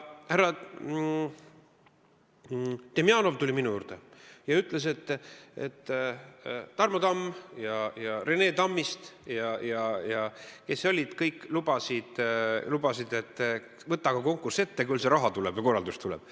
Härra Demjanov tuli minu juurde ja ütles, et Tarmo Tamm ja Rene Tammist ja kes need kõik olid, kes olid lubanud, et võta aga konkurss ette, küll see raha ja korraldus tuleb.